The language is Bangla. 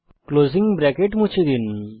ক্লোসিং ব্রেকেট মুছে ফেলুন